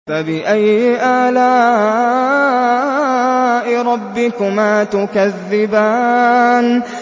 فَبِأَيِّ آلَاءِ رَبِّكُمَا تُكَذِّبَانِ